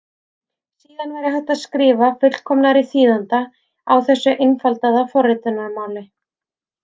Síðan væri hægt að skrifa fullkomnari þýðanda á þessu einfaldaða forritunarmáli.